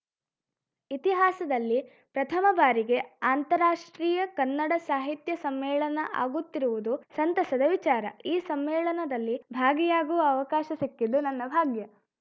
ಇತಿಹಾಸದಲ್ಲಿ ಪ್ರಥಮಬಾರಿಗೆ ಅಂತಾರಾಷ್ಟ್ರೀಯ ಕನ್ನಡ ಸಾಹಿತ್ಯ ಸಮ್ಮೇಳನ ಆಗುತ್ತಿರುವುದು ಸಂತಸದ ವಿಚಾರ ಈ ಸಮ್ಮೇಳನದಲ್ಲಿ ಭಾಗಿಯಾಗುವ ಅವಕಾಶ ಸಿಕ್ಕಿದ್ದು ನನ್ನ ಭಾಗ್ಯ